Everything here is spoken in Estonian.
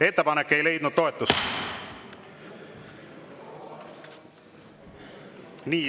Ettepanek ei leidnud toetust.